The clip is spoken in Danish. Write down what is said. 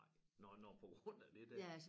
Nej nåh nåh på grund af det dér